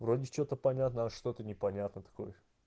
вроде что-то понятно что-то непонятно такое